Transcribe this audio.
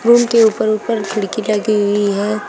Room के ऊपर ऊपर खिड़की लगी हुई है।